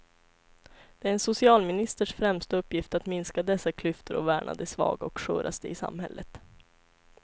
Det är en socialministers främsta uppgift att minska dessa klyftor och värna de svaga och sköraste i samhället.